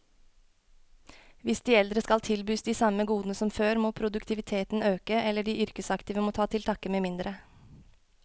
Hvis de eldre skal tilbys de samme godene som før, må produktiviteten øke, eller de yrkesaktive må ta til takke med mindre.